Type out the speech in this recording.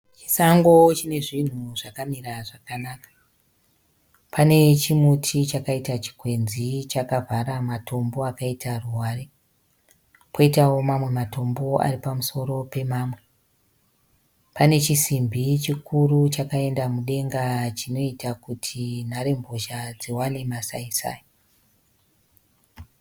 Sango rine zvinhu zvakamira zvakanaka . Pane chimuti chakaita chikwenzi chakavhara matombo akaita ruware . Poitawo mamwe matombo ari pamusoro pemwamwe. Pane chisimbi chikuru chakaenda mudenga chinoita kuti nharembozha dziwane masai-sai.